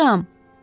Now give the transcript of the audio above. Hazıram.